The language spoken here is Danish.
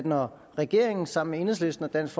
når regeringen sammen med enhedslisten og dansk